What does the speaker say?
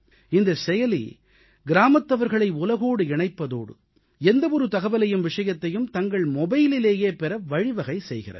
இந்தச் செயலி கிராமத்தவர்களை உலகோடு இணைப்பதோடு எந்தவொரு தகவலையும் விஷயத்தையும் தங்கள் மொபைலிலேயே பெற வழிவகை செய்கிறது